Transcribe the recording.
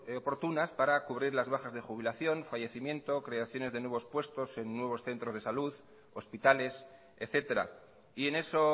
oportunas para cubrir las bajas de jubilación fallecimiento creaciones de nuevos puestos en nuevos centros de salud hospitales etcétera y en eso